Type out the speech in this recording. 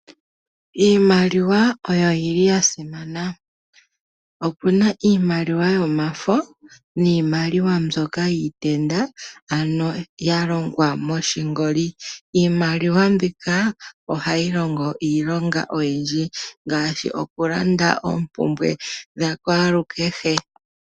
Iimaliwa oyo yi li ya simana. Opu na iimaliwa yomafo niimaliwa mbyoka yiitenda, ano ya longwa moshingoli. Iimaliwa mbika ohayi longo iilonga oyindji, ngaashi okulanda oompumbwe dhakwalukehe.